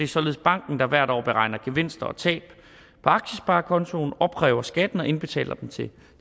således banken der hvert år beregner gevinster og tab på aktiesparekontoen opkræver skatten og indbetaler den til